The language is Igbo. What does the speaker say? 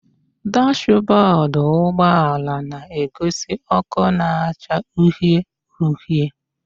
Dashbọdụ ụgbọala na-egosi ọkụ na-acha uhie uhie